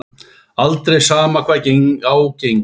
Aldrei, sama hvað á gengur.